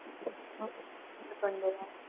અમે પણ ગયા હતા